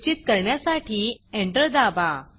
निश्चित करण्यासाठी एंटर दाबा